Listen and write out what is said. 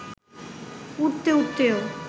উড়তে উড়তেও